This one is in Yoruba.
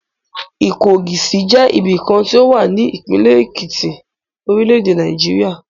Ìkọgòsì jẹ́ ibìkan tí ó wà ní ìpínlẹ̀ Èkìtì, orílẹ̀-èdè Nàìjíríà.